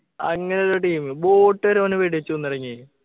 അങ്ങനൊരു team boat വരെ ഓനെ വെടിവച്ചു കൊന്നു കളഞ്ഞ്